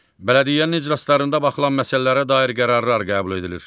Bələdiyyənin iclaslarında baxılan məsələlərə dair qərarlar qəbul edilir.